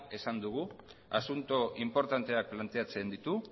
esan dugu asunto inportanteak planteatzen ditu